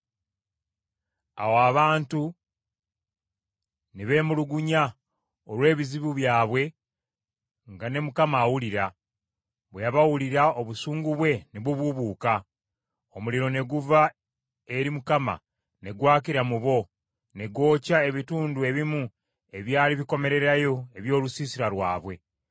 Awo abantu ne beemulugunya olw’ebizibu byabwe nga ne Mukama awulira; bwe yabawulira obusungu bwe ne bubuubuuka. Omuliro ne guva eri Mukama ne gwakira mu bo, ne gwokya ebitundu ebimu ebyali bikomererayo eby’olusiisira lwabwe.